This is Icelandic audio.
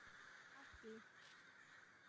Hátt í